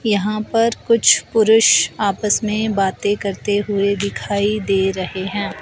यहां पर कुछ पुरुष आपस में बातें करते हुए दिखाई दे रहे हैं।